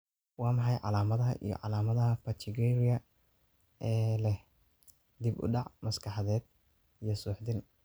Waa maxay calaamadaha iyo calaamadaha Pachygyria ee leh dib u dhac maskaxeed iyo suuxdin?